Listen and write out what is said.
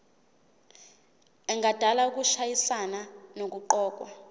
engadala ukushayisana nokuqokwa